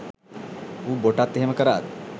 ඌ බොටත් එහෙම කරාද